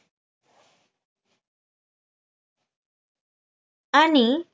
आणि